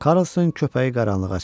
Karlson köpəyi qaranlığa çıxartdı.